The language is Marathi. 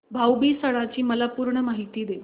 भाऊ बीज सणाची मला पूर्ण माहिती दे